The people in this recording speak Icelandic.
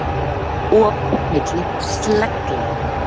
Op milli slegla